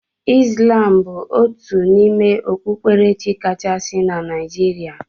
Islam bụ otu n'ime okpukperechi kachasị na Naijiria.